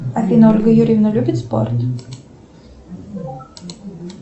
афина ольга юрьевна любит спорт